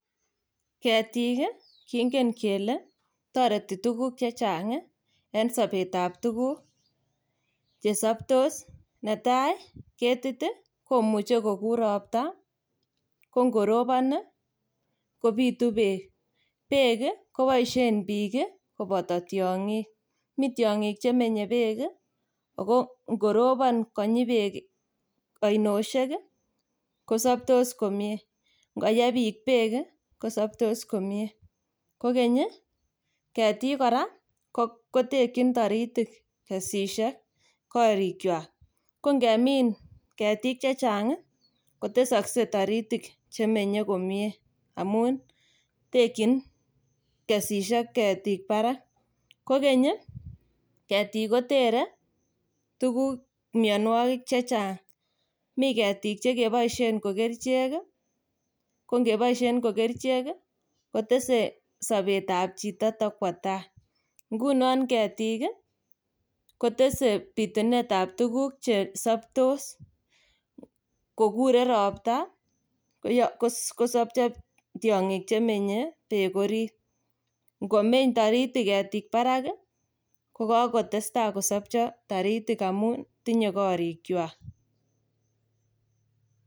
Ketiik kingen kele toreti tuguk che chang en sobetab tuguk che saptos. Netai ketit ii komuchi kogur ropta ko ngorobon kogutu beek. Beek koboisien biik koboto tiongik. Mi tiongik che menye beek ago ngorubon konyi beek ainosiek, ko saptos komie. Ngoye biik beek kosaptos komie. Kogeny ii, ketiik kora kotekyin toritik kesisiek korikwak. Ko ngemin ketiik che chang ko tesakse taritik che menye komie amun tekyin kesisiek ketiik barak. Kogeny ketiik kotere tuguk, mianwogik che chang. Mi ketiik che keboisien ko kerichek, ko ngeboisien ko kerichek, kotese sobetab chito takwo tai. Ngunon ketiik ko tese bitunetab tuguk chesaptos. Kogure ropta kosopcho tiongik che menye beek orit. Ngomeny taritik ketiik barak, ko kokotesta kosopcho taritik amun tinye korikywak.